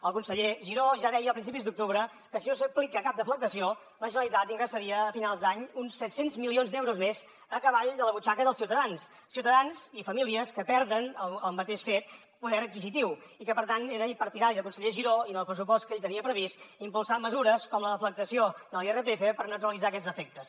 el conseller giró ja deia a principis d’octubre que si no s’aplica cap deflactació la generalitat ingressaria a finals d’any uns set cents milions d’euros més a cavall de la butxaca dels ciutadans ciutadans i famílies que perden al mateix fet poder adquisitiu i que per tant era ell partidari el conseller giró i en el pressupost que ell tenia previst d’impulsar mesures com la deflactació de l’irpf per neutralitzar aquests efectes